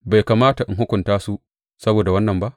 Bai kamata in hukunta su saboda wannan ba?